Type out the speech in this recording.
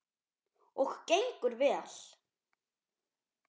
Og gengur vel.